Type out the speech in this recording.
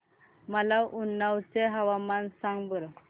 मला उन्नाव चे हवामान सांगा बरं